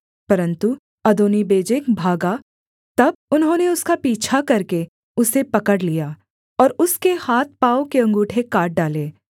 परन्तु अदोनीबेजेक भागा तब उन्होंने उसका पीछा करके उसे पकड़ लिया और उसके हाथ पाँव के अँगूठे काट डाले